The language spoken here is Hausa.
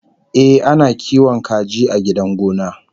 Ehh, ana kiwon kaji a gidan gona